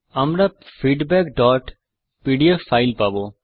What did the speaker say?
আমরা feedback PDF file পাবো